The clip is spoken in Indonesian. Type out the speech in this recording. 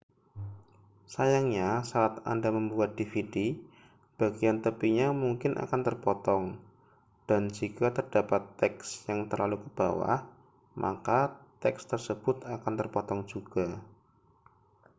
sayangnya saat anda membuat dvd bagian tepinya mungkin akan terpotong dan jika terdapat teks yang terlalu ke bawah maka teks tersebut akan terpotong juga